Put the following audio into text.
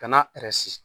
Ka na